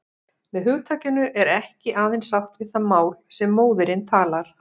Með hugtakinu er ekki aðeins átt við það mál sem móðirin talar.